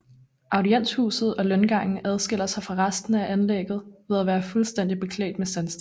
Audienshuset og løngangen adskiller sig fra resten af anlægget ved at være fuldstændigt beklædt med sandsten